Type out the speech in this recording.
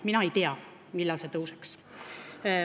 Mina ei tea, millal need tõuseksid.